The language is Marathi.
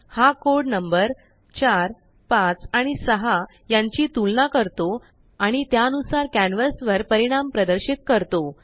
हा कोड नंबर4 5 आणि6 यांची तुलना करतो आणि त्यानुसार कॅन्वस वर परिणाम प्रदर्शित करतो